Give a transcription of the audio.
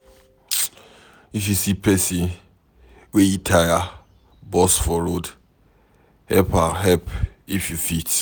If you see pesin wey e tire burst for road, help if you fit.